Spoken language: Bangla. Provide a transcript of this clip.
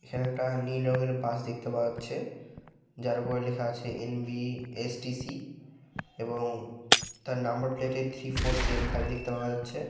এখানে একটা নীল বাস দেখতে পাওয়া যাচ্ছে যার উপর লেখা আছে এন.বি.এস.টি.সি. এবং তার নাম্বার প্লেটে থ্রি ফোর সেভেন ফাইভ দেখতে পাওয়া যাচ্ছে ।